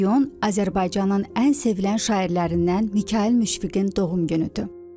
5 iyun Azərbaycanın ən sevilən şairlərindən Mikayıl Müşfiqin doğum günüdür.